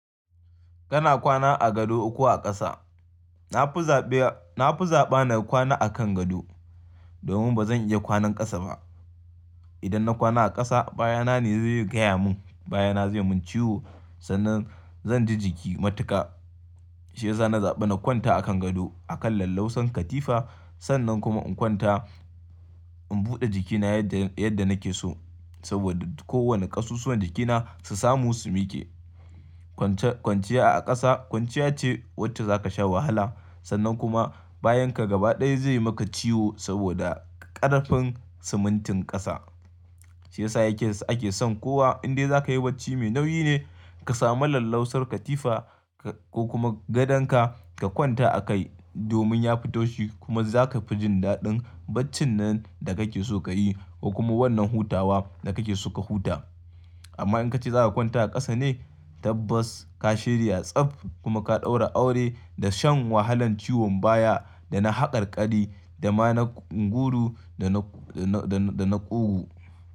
Kana kwana a gado ko a ƙasa? Na fi zaɓa, na fi zaɓa na kwana a kan gado domin ba zan iya kwanan ƙasa ba. Idan na kwana a ƙasa, baya na ne zai yi gaya mun, baya na zai mun ciwo, sannan zan ji jiki matuƙa. Shi yasa na zaɓa na kwanta a kan gado a kan lallausar katifa, sannan kuma in kwanta, in buɗe jikina yadda, yadda nake so saboda kowane ƙasussuwar jikina su samu sumi ke. Kwanciya a ƙasa kwanciya ce wacce za ka sha wahala sannan kuma bayan ka gaba ɗaya zai maka ciwo saboda ƙarfin simintin ƙasa. Shi yasa yake ake son kowa in dai za ka yi bacci mai nauyi ne ka samu lallausar katifa ko kuma gadonka ka kwanta a kai domin ya fitau shi kuma za ka fi jin daɗin baccin nan da kake so ka yi ko kuma wannan hutawa da kake so ka huta. Amma in ka ce za ka kwanta a ƙasa ne tabbas ka shirya tsab kuma ka ɗaura aure da shan wahalan ciwon baya dana haƙarƙari, dama na unguru da na, da na ƙugu.